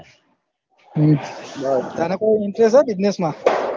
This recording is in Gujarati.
હમ તને કોઈ interest છે business માં